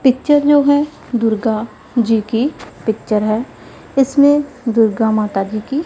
picture जो है दुर्गा जी की पिक्चर है इसमें दुर्गा माता जी की --